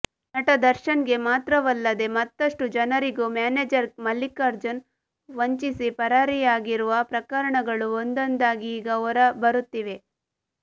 ನಟ ದರ್ಶನ್ಗೆ ಮಾತ್ರವಲ್ಲದೇ ಮತ್ತಷ್ಟು ಜನರಿಗೂ ಮ್ಯಾನೇಜರ್ ಮಲ್ಲಿಕಾರ್ಜುನ್ ವಂಚಿಸಿ ಪರಾರಿಯಾಗಿರುವ ಪ್ರಕರಣಗಳು ಒಂದೊಂದಾಗಿ ಈಗ ಹೊರ ಬರುತ್ತಿವೆ